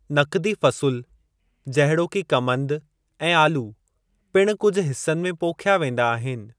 नक़दी फ़सुल, जहिड़ोकि कमंदु ऐं आलू, पिणु कुझु हिस्सनि में पोख्या वेंदा आहिनि।